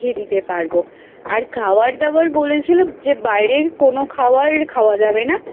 দিতে পারব আর খাবার দাবার বলেছিল যে বাইরের কোন খাবার খাওয়া যাবে না